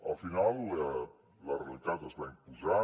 al final la realitat es va imposar